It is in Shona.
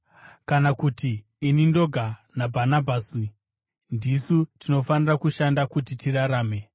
Kana kuti ini ndoga naBhanabhasi ndisu tinofanira kushanda kuti tirarame?